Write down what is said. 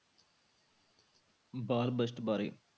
ਬਾਲ budget ਬਾਰੇ।